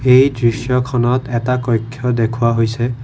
এই দৃশ্যখনত এটা কক্ষ্য দেখুওৱা হৈছে।